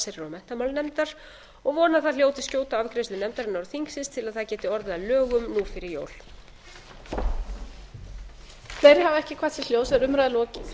allsherjar og menntamálanefndar og vona að það hljóti skjóta afgreiðslu nefndarinnar og þingsins til að það geti orðið að lögum nú fyrir jól